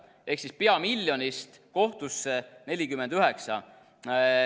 Ehk siis pea miljonist kohtusse 49.